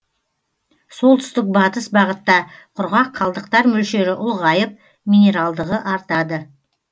солтүстік батыс бағытта құрғақ қалдықтар мөлшері ұлғайып минералдығы артады